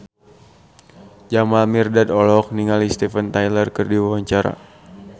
Jamal Mirdad olohok ningali Steven Tyler keur diwawancara